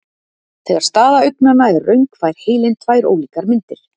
Þegar staða augnanna er röng fær heilinn tvær ólíkar myndir.